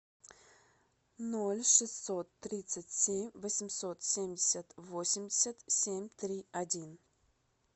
ноль шестьсот тридцать семь восемьсот семьдесят восемьдесят семь три один